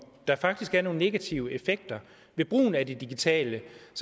der faktisk er nogle negative effekter ved brugen af det digitale